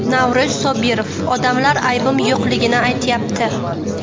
Navro‘z Sobirov: Odamlar aybim yo‘qligini aytyapti.